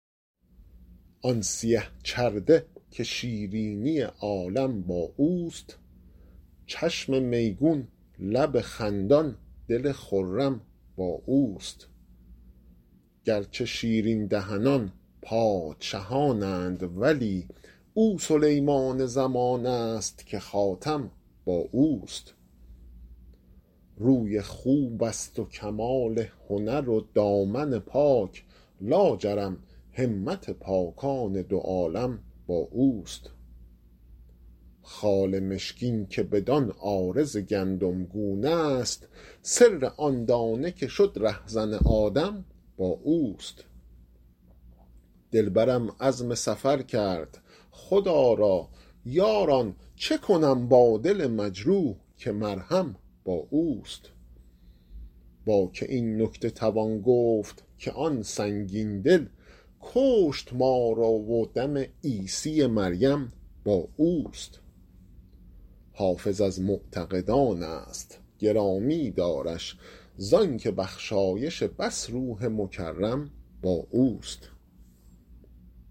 آن سیه چرده که شیرینی عالم با اوست چشم میگون لب خندان دل خرم با اوست گرچه شیرین دهنان پادشهان اند ولی او سلیمان زمان است که خاتم با اوست روی خوب است و کمال هنر و دامن پاک لاجرم همت پاکان دو عالم با اوست خال مشکین که بدان عارض گندمگون است سر آن دانه که شد رهزن آدم با اوست دلبرم عزم سفر کرد خدا را یاران چه کنم با دل مجروح که مرهم با اوست با که این نکته توان گفت که آن سنگین دل کشت ما را و دم عیسی مریم با اوست حافظ از معتقدان است گرامی دارش زان که بخشایش بس روح مکرم با اوست